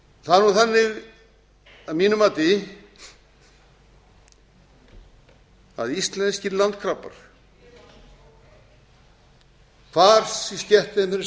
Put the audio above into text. það er nú þannig að mínu mati að íslenskir landkrabbar hvar í